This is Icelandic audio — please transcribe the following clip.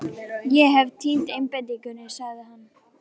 Ég hef týnt einbeitingunni, sagði hann.